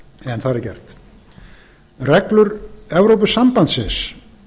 en þar er gert reglur evrópusambandsins